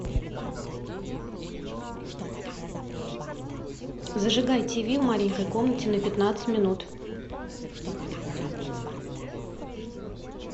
зажигай тиви в маленькой комнате на пятнадцать минут